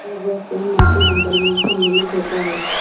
जब वह स्वयं मंत्रिमंडल में सम्मिलित होता है